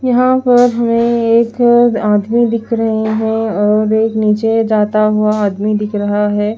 यहां पर हमे एक आदमी दिख रहे है और एक नीचे जाता हुआ आदमी दिख रहा है।